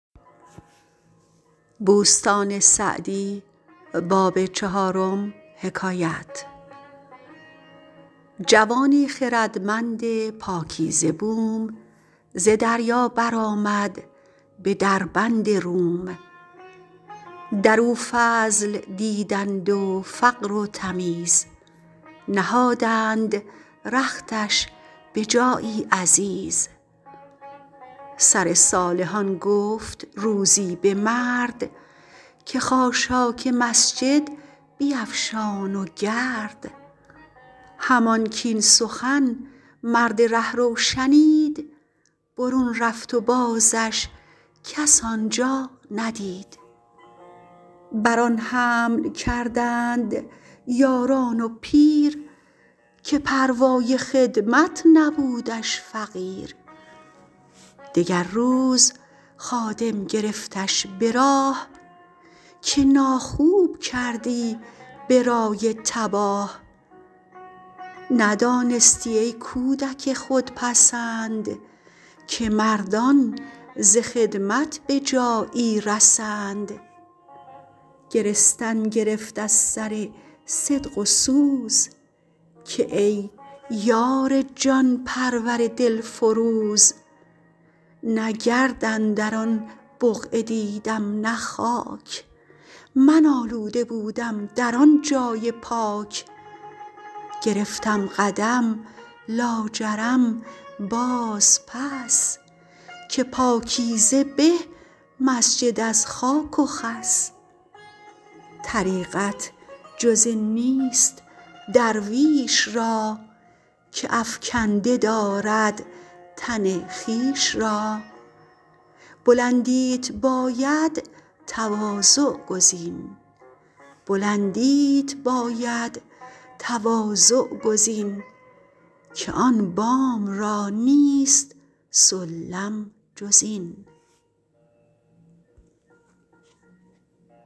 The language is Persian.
جوانی خردمند پاکیزه بوم ز دریا بر آمد به دربند روم در او فضل دیدند و فقر و تمیز نهادند رختش به جایی عزیز سر صالحان گفت روزی به مرد که خاشاک مسجد بیفشان و گرد همان کاین سخن مرد رهرو شنید برون رفت و بازش کس آنجا ندید بر آن حمل کردند یاران و پیر که پروای خدمت نبودش فقیر دگر روز خادم گرفتش به راه که ناخوب کردی به رای تباه ندانستی ای کودک خودپسند که مردان ز خدمت به جایی رسند گرستن گرفت از سر صدق و سوز که ای یار جان پرور دلفروز نه گرد اندر آن بقعه دیدم نه خاک من آلوده بودم در آن جای پاک گرفتم قدم لاجرم باز پس که پاکیزه به مسجد از خاک و خس طریقت جز این نیست درویش را که افکنده دارد تن خویش را بلندیت باید تواضع گزین که آن بام را نیست سلم جز این